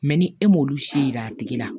ni e m'olu si yira a tigi la